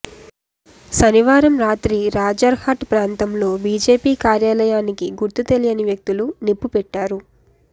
శనివారం రాత్రి రాజర్హట్ ప్రాంతంలో బీజేపీ కార్యాలయానికి గుర్తు తెలియని వ్యక్తులు నిప్పుపెట్టారు